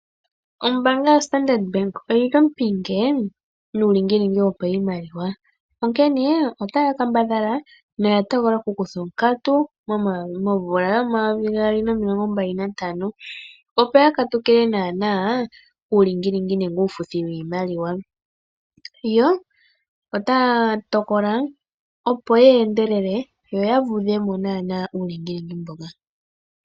Ombaanga yoStandard Bank oyi li ompinge nuulingilingi woshimaliwa, onkene otaya kambadhala noya tokola okukutha onkatu momvula 2025, opo katukile onkatu uulingilingi nenge uufuthi woshimaliwa. Otaya tokola opo ye endelele yo ya vudhe mo uulingilingi mboka.